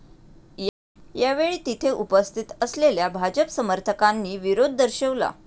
यावेळी तिथे उपस्थित असलेल्या भाजप समर्थकांनी विरोध दर्शवला.